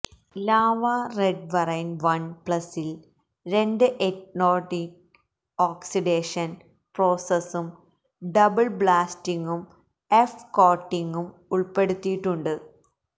lava red variant one പ്ലസില് രണ്ട് anodic oxidation പ്രോസസും ഡബിള് ബ്ലാസ്റ്റിങ്ങും എഫ് കോട്ടിങ്ങും ഉള്പ്പെടുത്തിയിട്ടുണ്ട്